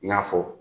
I n'a fɔ